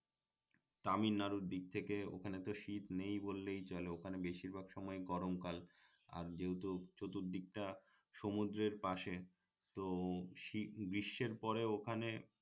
তামিল নাড়ুর দিক থেকে ওখানে তো শীত নেই বললেই চলে ওখানে বেশির ভাগ সময় গরম কাল আর যেহেতু চতুর্দিকটা সমুদ্রের পাশে তো গ্রীষ্মের পরে ওখানে